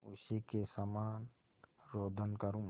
उसी के समान रोदन करूँ